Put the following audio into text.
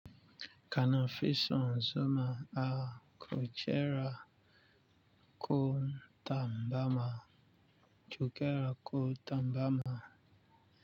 Kana fison zoma a kujera ko tambama jukera ko tambama.